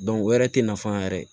o yɛrɛ tɛ nafa yɛrɛ ye